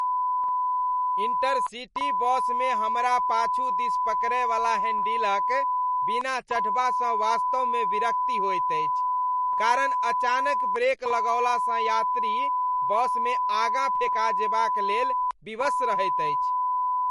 Intercity बसमे हमरा पाछु दिस पकड़यवला हैण्डिलक बिना चढ़बासँ वास्तवमे विरक्ति होइत अछि। कारण अचानक ब्रेक लगौलासँ यात्री बसमे आगाँ फेका जेबाक लेल विवश रहैत अछि।